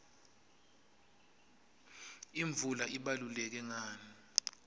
imvula ibaluleke ngani